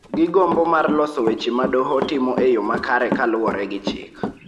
gi gombo mar loso weche ma doho timo e yo makare kaluwore gi chik